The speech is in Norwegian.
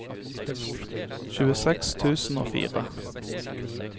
tjueseks tusen og fire